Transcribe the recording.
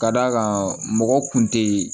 Ka d'a kan mɔgɔ kun tɛ yen